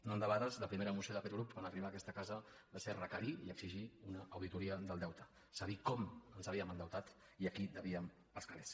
no endebades la primera moció d’aquest grup en arribar a aquesta casa va ser requerir i exigir una auditoria del deute és a dir com ens havíem endeutat i a qui devíem els calers